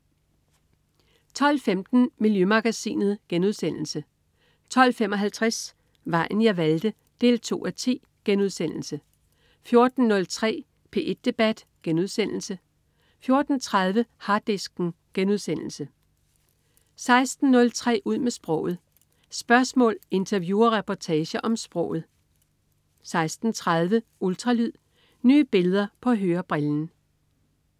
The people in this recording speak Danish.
12.15 Miljømagasinet* 12.55 Vejen jeg valgte 2:10* 14.03 P1 debat* 14.30 Harddisken* 16.03 Ud med sproget. Spørgsmål, interview og reportager om sproget 16.30 Ultralyd. Nye billeder på hørebrillen